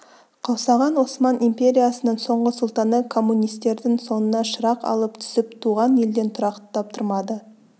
қаусаған осман империясының соңғы сұлтаны коммунистердің соңына шырақ алып түсіп туған елден тұрақ таптырмады